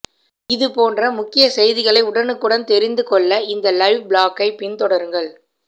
இது போன்ற முக்கிய செய்திகளை உடனுக்குடன் தெரிந்துக் கொள்ள இந்த லைவ் ப்ளாக்கை பின்தொடருங்கள்